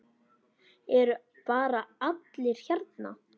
Eru bara allir hérna?